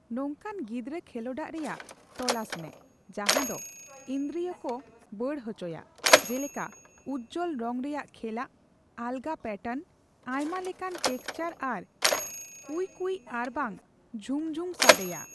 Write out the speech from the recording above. ᱱᱚᱝᱠᱟᱱ ᱜᱤᱫᱽᱨᱟᱹ ᱠᱷᱮᱞᱳᱰᱟᱜ ᱨᱮᱭᱟᱜ ᱛᱚᱞᱟᱥᱢᱮ ᱡᱟᱦᱟᱫᱚ ᱤᱱᱫᱨᱤᱭᱚᱠᱚ ᱵᱟᱹᱰ ᱦᱚᱪᱚᱭᱟ, ᱡᱮᱞᱮᱠᱟ ᱩᱡᱡᱚᱞ ᱨᱚᱝ ᱨᱮᱭᱟᱜ ᱠᱷᱮᱞᱟᱜ, ᱟᱞᱜᱟ ᱯᱟᱴᱟᱨᱱ, ᱟᱭᱢᱟ ᱞᱮᱠᱟᱱ ᱴᱮᱠᱪᱟᱨ ᱟᱨ ᱠᱩᱭᱠᱩᱭ ᱟᱨᱵᱟᱝ ᱡᱷᱩᱢᱡᱷᱩᱢ ᱥᱟᱰᱮᱭᱟ ᱾